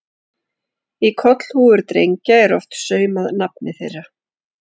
Í kollhúfur drengja er oft saumað nafnið þeirra.